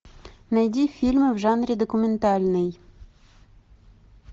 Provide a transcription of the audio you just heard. найди фильм в жанре документальный